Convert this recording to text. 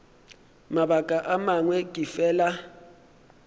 mabaka a mangwe ke fela